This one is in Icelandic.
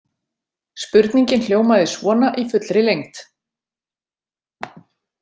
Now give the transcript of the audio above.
Spurningin hljómaði svona í fullri lengd